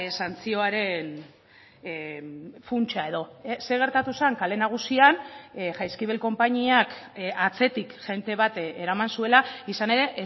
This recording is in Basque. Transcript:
santzioaren funtsa edo zer gertatu zen kale nagusian jaizkibel konpainiak atzetik jende bat eraman zuela izan ere